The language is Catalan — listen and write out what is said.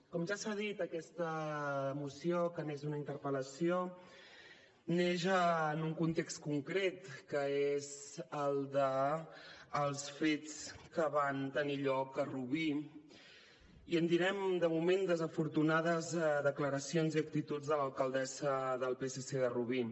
com ja s’ha dit aquesta moció que neix d’una interpel·lació neix en un context concret que és el dels fets que van tenir lloc a rubí i en direm de moment desafortunades declaracions i actituds de l’alcaldessa del psc de rubí